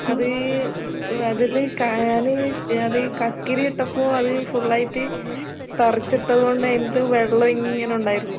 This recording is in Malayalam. അത് ഇപ്പൊ അതില് കായാന് അത് കക്കിരിയിട്ടപ്പോ അത് ഫുള്ളായിട്ട് പറിച്ചിട്ടത് കൊണ്ട് അതിന്റകത്ത് വെള്ളം ഇങ്ങനെ ഉണ്ടായിരുന്നു.